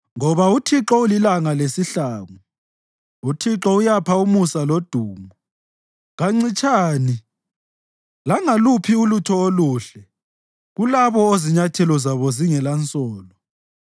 Ngoba uThixo ulilanga lesihlangu; uThixo uyapha umusa lodumo; kancitshani langaluphi ulutho oluhle kulabo ozinyathelo zabo zingelansolo.